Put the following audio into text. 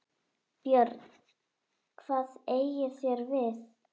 BJÖRN: Hvað eigið þér við?